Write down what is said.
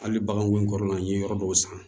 Hali bagan kun kɔrɔla n ye yɔrɔ dɔw san